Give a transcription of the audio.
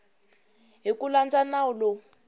hi ku landza nawu lowu